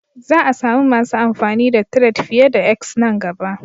Za a sami masu amfani da Tired fiye da 'X' nan gaba.